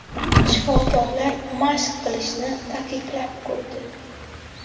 Shifokorlar mashq qilishni taqiqlab qo‘ydi.